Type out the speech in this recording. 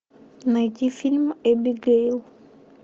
найди фильм эбигейл